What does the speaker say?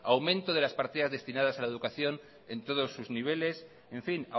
aumento de las partidas destinadas a la educación en todos sus niveles en fin